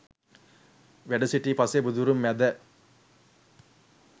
වැඩසිටි පසේ බුදුවරුන් මැද